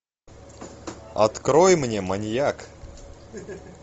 открой мне маньяк